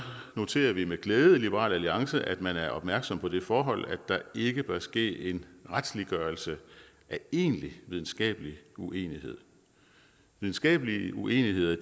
noterer vi med glæde i liberal alliance at man er opmærksom på det forhold at der ikke bør ske en retsliggørelse af egentlig videnskabelig uenighed videnskabelige uenigheder